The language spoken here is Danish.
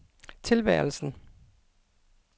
tilværelsen